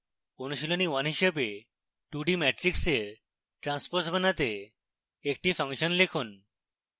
অনুশীলনী 1 হিসাবে 2d matrix এর ট্রান্সপোজ বানাতে একটি ফাংশন লিখুন